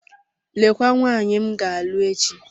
Lekwa nwaanyị m ga-alụ echi.